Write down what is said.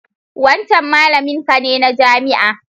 Wancan malaminka ne na jami'a?